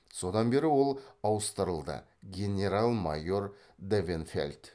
содан бері ол ауыстырылды генерал майор давенфельд